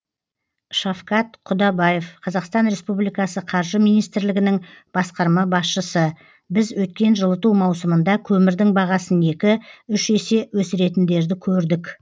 шафкат құдабаев қазақстан республикасы қаржы министрлігінің басқарма басшысы біз өткен жылыту маусымында көмірдің бағасын екі үш есе өсіретіндерді көрдік